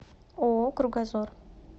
ооо кругозор